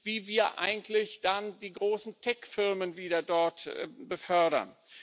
wie wir eigentlich dann die großen Tech Firmen wieder dort befördern.